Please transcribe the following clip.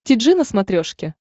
ти джи на смотрешке